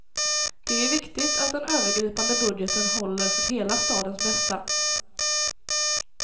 Det är viktigt att den övergripande budgeten håller för hela stadens bästa.